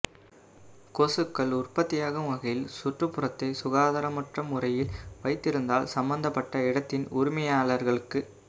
கொசுக்கள் உற்பத்தியாகும் வகையில் சுற்றுப்புறத்தை சுகாதாரமற்ற முறையில் வைத்திருந்தால் சம்பந்தப்பட்ட இடத்தின் உரிமையாளர்களுக்கு